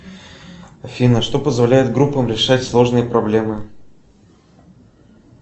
афина что позволяет группам решать сложные проблемы